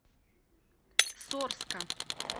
сорска